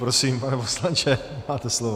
Prosím pane poslanče, máte slovo.